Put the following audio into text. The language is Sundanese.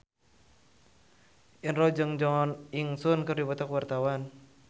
Indro jeung Jo In Sung keur dipoto ku wartawan